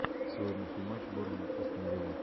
сегодняшний матч борнмут астон вилла